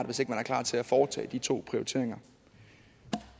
hvis ikke man er klar til at foretage de to prioriteringer